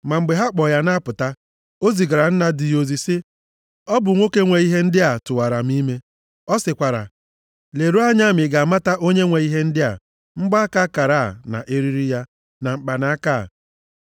Ma mgbe ha kpọ ya na-apụta, o zigara nna di ya ozi, sị, “Ọ bụ nwoke nwee ihe ndị a tụwara m ime. Ọ sịkwara, Leruo anya ma ị ga-amata onye nwe ihe ndị a: mgbaaka akara a na eriri ya, na mkpanaka a.”